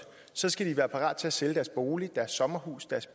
skal de være parate til at sælge deres bolig sommerhus og